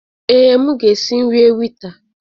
Ee, m ga-esi nri ewita.